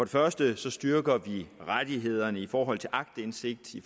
første styrker vi rettighederne i forhold til aktindsigt i